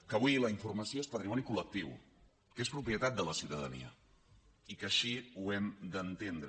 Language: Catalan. que avui la informació és patrimoni col·lectiu que és propietat de la ciutadania i que així ho hem d’entendre